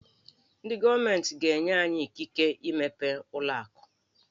Ndị gọọmentị ga-enye anyị ikike imepe ụlọ akụ.